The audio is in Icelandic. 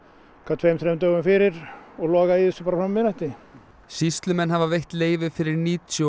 tveimur þremur dögum fyrir og loga í þessu fram að miðnætti sýslumenn hafa veitt leyfi fyrir níutíu og